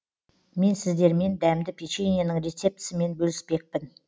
мен сіздермен дәмді печеньенің рецептісімен бөліспекпін